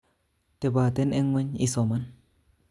Teboten eng ngweny isoman